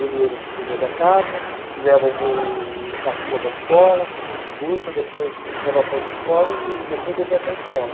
Ele hoje é que cuida da casa, que leva o mo o caçula para a escola, que busca, depois leva para outra escola e e depois ele vai para a escola.